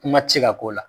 Kuma tɛ se ka k'o la